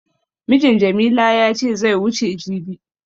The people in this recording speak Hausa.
Mijin Jamila ya ce zai wuce jibi.